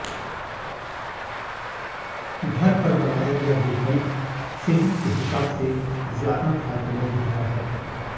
घर पर बनाया गया गुलकंद सेहत के हिसाब से ज्यादा फायदेमंद होता है